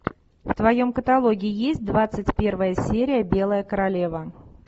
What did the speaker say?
в твоем каталоге есть двадцать первая серия белая королева